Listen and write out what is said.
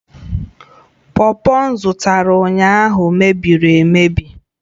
pọpọ m zụtara ụnyaahụ mebiri emebi